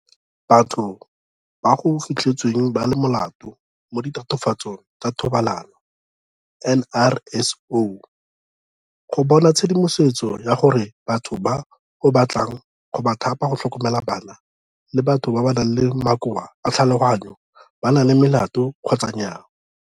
Batho ba go Fitlhetsweng ba le Molato mo Ditatofatsong tsa Thobalano, NRSO, go bona tshedimosetso ya gore batho ba o batlang go ba thapa go tlhokomela bana le batho ba ba nang le makoa a tlhaloganyo ba na le melato kgotsa nnyaa.